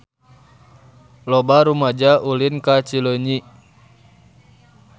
Loba rumaja ulin ka Cileunyi